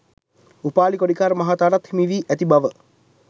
උපාලි කොඩිකාර මහතාටත් හිමි වී ඇති බව